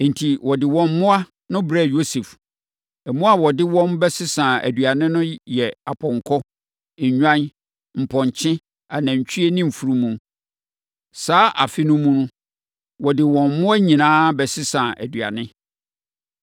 Enti, wɔde wɔn mmoa no brɛɛ Yosef. Mmoa a wɔde wɔn bɛsesaa aduane no yɛ apɔnkɔ, nnwan, mpɔnkye, anantwie ne mfunumu. Saa afe no mu no, wɔde wɔn mmoa nyinaa bɛsesaa aduane.